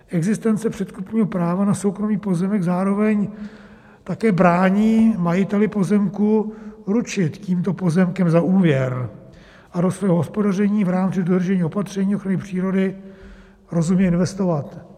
Existence předkupního práva na soukromý pozemek zároveň také brání majiteli pozemku ručit tímto pozemkem za úvěr a do svého hospodaření v rámci dodržení opatření ochrany přírody rozumně investovat.